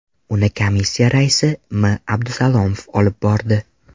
Uni Komissiya raisi M. Abdusalomov olib bordi.